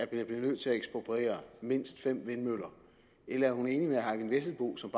bliver nødt til at ekspropriere mindst fem vindmøller eller er hun enig med herre eyvind vesselbo som